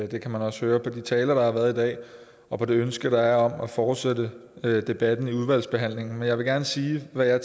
det kan man også høre på de taler der har været i dag og på det ønske der er om at fortsætte debatten i udvalgsbehandlingen men jeg vil gerne sige hvad jeg